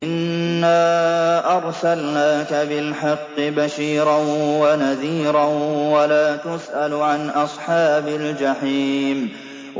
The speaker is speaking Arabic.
إِنَّا أَرْسَلْنَاكَ بِالْحَقِّ بَشِيرًا وَنَذِيرًا ۖ وَلَا تُسْأَلُ عَنْ أَصْحَابِ الْجَحِيمِ